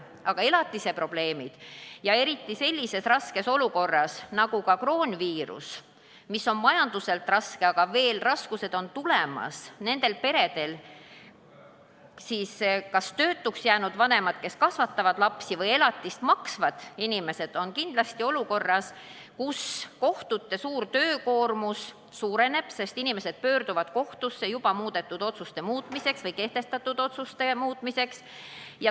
Aga elatise probleemid, eriti sellises raskes olukorras nagu koroonaviirus, mis on majandusele raske, ning raskused on veel tulemas nendel peredel, siis kas töötuks jäänud vanemad, kes kasvatavad lapsi, või elatist maksvad inimesed on kindlasti olukorras, kus kohtute suur töökoormus suureneb, sest inimesed pöörduvad kohtusse juba muudetud otsuste muutmiseks või kehtestatud otsuste muutmiseks.